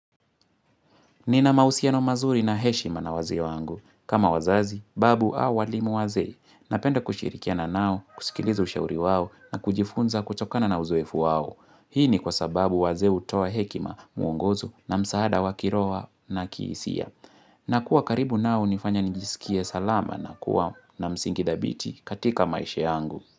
Nina mahusia no mazuri na heshima na wazee wangu. Kama wazazi, babu au walimu wazee. Napenda kushirikiana nao, kusikiliza ushauri wao na kujifunza kutokana na uzoefu wao. Hii ni kwa sababu wazee utoa hekima mwongozo na msaada wakiroho na kiisia. Na kuwa karibu nao unifanya njisikie salama na kuwa na msingi dhabiti katika maisha yangu.